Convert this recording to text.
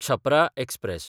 Chhapra express